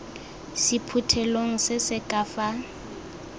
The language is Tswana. sephuthelong se se ka fa